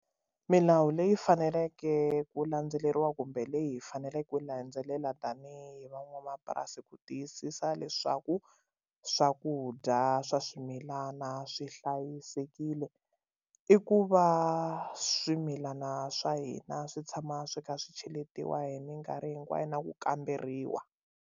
Milawu leyi faneleke ku landzeleriwa kumbe leyi hi faneleke ku landzelela tanihi van'wamapurasi ku tiyisisa leswaku swakudya swa swimilana swi hlayisekile i ku va swimilana swa hina swi tshama swi kha swi cheletiwa hi minkarhi hinkwayo na ku kamberiwa.